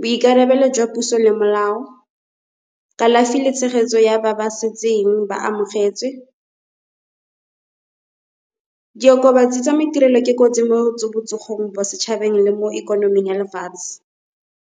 boikarabelo jwa puso le molao, kalafi le tshegetso ya ba ba setseng ba amogetse. Diokobatsi tsa maiterelo ke kotsi mo botsogong mo setšhabeng le mo ikonoming ya lefatshe.